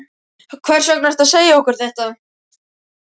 Hvers vegna ertu að segja okkur þetta?